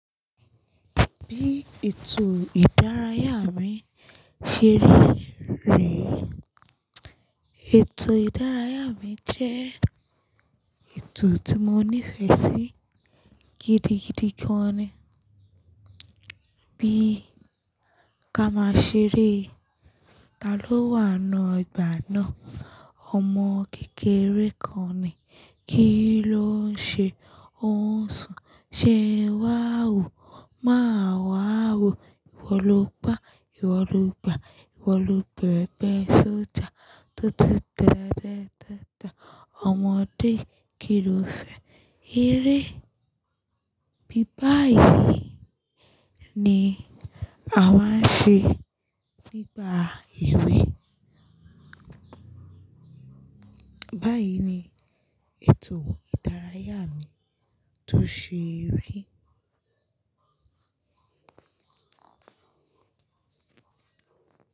Bí ètò ìdárayá mi ṣe rí rè é. Ètò ìdárayá mi jẹ́ ètò tí mo nífẹ̀ẹ́ sí gidigidi gan ni. Bí ka ma ṣe eré, ta ló wà n nu ọ́gbà náà? Ọmọ kékeré kan ni. Kí ló ń ṣe? Ó ń sùn. Ṣe ń wà wó? Máa wàa wó. Ìwọ lo pá, ìwọ lo gbà, ìwọ lo bẹ̀ẹ̀bẹ, sójà. Tó tu tẹ́ tẹ́ tẹ́ ta. Ọmọdé kì í lọ fẹ́ eré. Bí báyìí ni a wá ń ṣe nígbà èwe. Báyìí ni ètò ìdárayá mi tó ṣe rí.